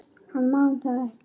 Hann man það ekki.